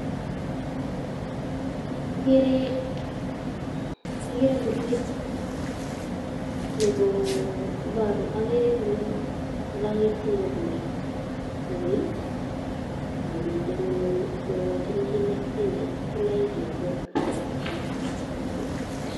Agere ngurwet, agere ole agertoi kokoi, koi ago miten kogochin kinaek arekyik.